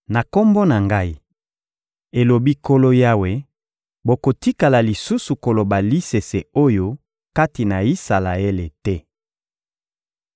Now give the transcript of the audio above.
Na Kombo na Ngai, elobi Nkolo Yawe, bokotikala lisusu koloba lisese oyo kati na Isalaele te.